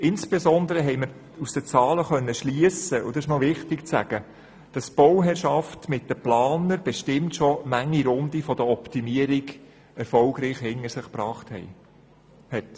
Insbesondere konnten wir aus den Zahlen schliessen – und es ist wichtig, dies zu sagen –, dass die Bauherrschaft zusammen mit den Planern bestimmt schon manche Runde der Optimierung hinter sich gebracht hat.